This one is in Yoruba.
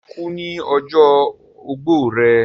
ṣe, ó kú ní ọjọ́ ogbó rẹ̀?